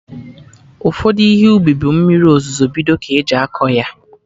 Ụfọdụ Ihe ubi bụ mmiri ozuzo bido ka eji akọ ya